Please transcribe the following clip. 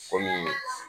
Kɔmi